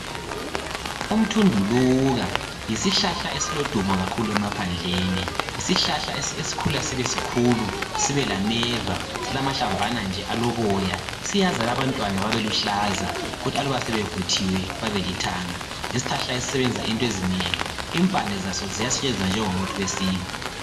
Umthunduluka yisihlahla esilodumo kakhulu emaphandleni. Yisihlahla esikhula sibesikhulu, sibelameva, silamahlamvana nje aloboya. Siyazala abantwana babeluhlaza kuthi aluba sebevuthiwe babelithanga. Yisihlahla esisebenza into ezinengi. Impande zaso ziyasetshenziswa njengomuthi wesintu.